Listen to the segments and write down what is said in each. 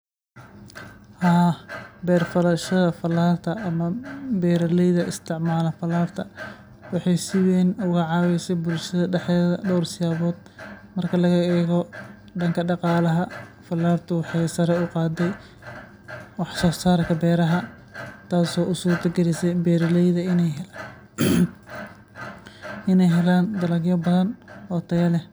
Haa, waxaan u malaynayaa in beer-falashada falaarta ay si weyn uga caawisay bulshada dhexdeeda, gaar ahaan dhinacyada dhaqaalaha, caafimaadka, iyo isku-xirnaanta bulshada. Beer-falashada falaarta waxay keentay in dad badan ay helaan fursado shaqo oo joogto ah, taasoo ka caawisay inay yareeyaan saboolnimada iyo inay horumariyaan noloshooda. Intaa waxaa dheer, falaarta caafimaadku waxay leedahay faa'iidooyin badan oo muhiim ah oo kor u qaada caafimaadka bulshada. Tusaale ahaan, falaarta caafimaadku waxay fududaysaa helitaanka adeegyada caafimaadka sida tallaalada, baaritaannada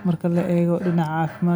cudurrada, iyo daryeelka degdegga ah.